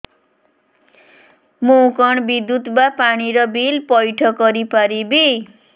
ମୁ କଣ ବିଦ୍ୟୁତ ବା ପାଣି ର ବିଲ ପଇଠ କରି ପାରିବି